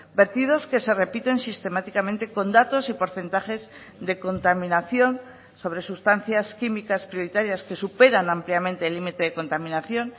vertidos que se repiten sistemáticamente con datos y porcentajes de contaminación sobre sustancias químicas prioritarias que superan ampliamente el límite de contaminación